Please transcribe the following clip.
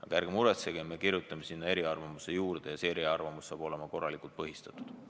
Aga ärge muretsege, me kirjutame sinna eriarvamuse juurde ja see eriarvamus saab olema korralikult põhistatud.